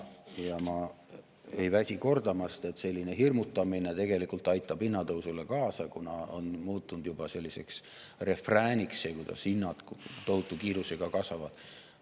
Ja ma ei väsi kordamast, et selline hirmutamine tegelikult aitab hinnatõusule kaasa, kuna see, et hinnad tohutu kiirusega kasvavad, on muutunud selliseks refrääniks.